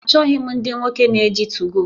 Achọghị m ndị nwoke na-eji 2go